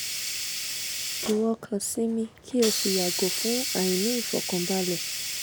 iwo kan sinmi ki o si o si yago fun aini ifokanbale